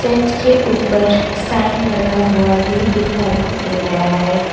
Church के ऊपर sign लगा हुआ भी दिखाई दे रहा है।